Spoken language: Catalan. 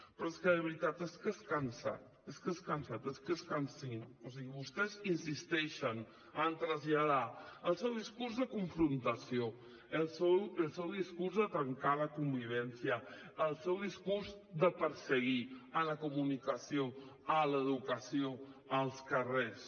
però és que de veritat és que és cansat és que és cansino o sigui vostès insisteixen a traslladar el seu discurs de confrontació el seu discurs de trencar la convivència el seu discurs de perseguir la comunicació l’educació els carrers